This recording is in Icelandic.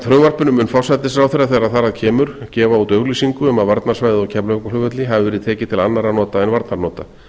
frumvarpinu mun forsætisráðherra þegar það að kemur gefa út auglýsingu um að varnarsvæðið á keflavíkurflugvelli hafi verið tekið til annarra nota